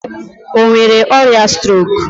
O nwere ọrịa strok?